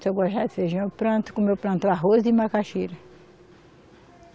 Se eu gostar de feijão, eu planto, como eu planto arroz e macaxira.